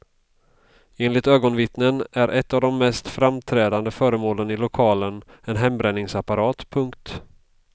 Enligt ögonvittnen är ett av de mest framträdande föremålen i lokalen en hembränningsapparat. punkt